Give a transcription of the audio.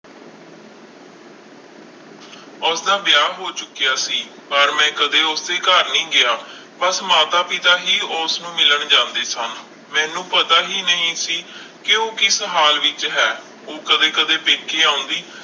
ਉਸਦਾ ਵਿਆਹ ਹੋ ਚੁੱਕਿਆ ਸੀ ਪਰ ਮੈਂ ਕਦੇ ਉਸਦੇ ਘਰ ਨਹੀਂ ਗਿਆ, ਬਸ ਮਾਤਾ ਪਿਤਾ ਹੀ ਉਸਨੂੰ ਮਿਲਣ ਜਾਂਦੇ ਸਨ ਮੈਨੂੰ ਪਤਾ ਹੀ ਨਹੀਂ ਸੀ ਕਿ ਉਹ ਕਿਸ ਹਾਲ ਵਿੱਚ ਹੈ ਉਹ ਕਦੇ ਕਦੇ ਪੇਕੇ ਆਉਂਦੀ